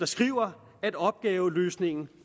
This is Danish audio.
skriver at opgaveløsningen